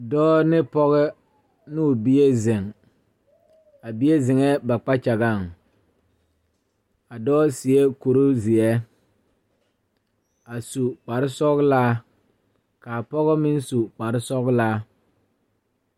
Dɔɔ ne pɔge ne o bie zeŋ a bie zeŋɛɛ ba kpakyagaŋ a dɔɔ seɛ Kurizeɛ a su kparesɔglaa k,a pɔge meŋ su kparesɔglaa.